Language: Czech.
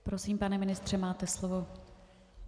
Prosím, pane ministře, máte slovo.